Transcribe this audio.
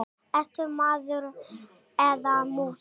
Ertu maður eða mús?